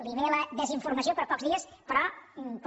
li ve la des informació per pocs dies però